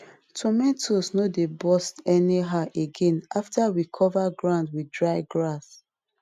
tomato no dey burst anyhow again after we cover ground with dry grass